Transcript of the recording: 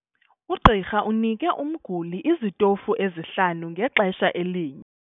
Ugqirha unike umguli izitofu ezihlanu ngexesha elinye.